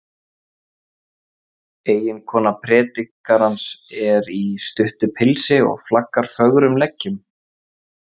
Eiginkona predikarans er í stuttu pilsi og flaggar fögrum leggjum.